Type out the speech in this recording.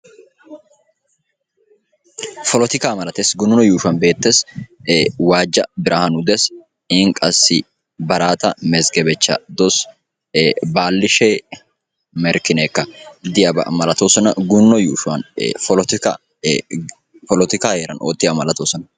polotikka malatees gununno yuushuwan beettees waajja biraanu des, iin qassi barata mezggebechcha dawus, baalishe merkkinekka diyaaba malatoosona gununno yuushuwan polotikkan oottiyaaba malattoossona.